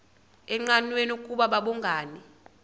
engqanweni ukuba babhungani